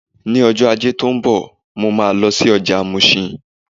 Ní ọjọ́ Ajé tó ń bọ̀, mo máa lọ ọjà Mushin.